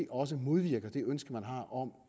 også modvirker det ønske man har om